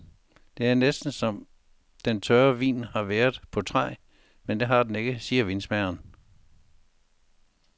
Det er næsten som om den tørre vin har været på træ, men det har den ikke, siger vinmageren.